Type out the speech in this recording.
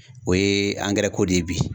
O ye ko de ye bi